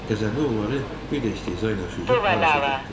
Qəzəblini bir də istehza ilə süzüb harasa getdi.